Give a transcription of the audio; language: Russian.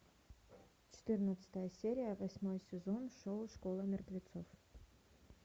четырнадцатая серия восьмой сезон шоу школа мертвецов